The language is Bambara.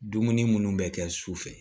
Dumuni munnu bɛ kɛ sufɛ